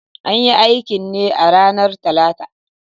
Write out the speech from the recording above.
An yi aikin ne a ranar Talata